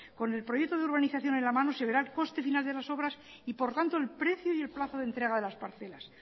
con el proyecto de urbanización en la mano se verá el coste final de esas obras y por tanto el precio y el plazo de entrega de las parcelas